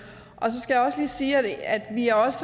så skal jeg også lige sige at vi også